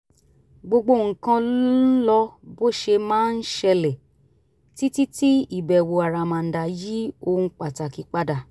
gbogbo nǹkan ń lọ bó ṣe máa ń ṣẹlẹ̀ títí tí ìbẹ̀wò àràmàǹdà yí ohun pàtàkì padà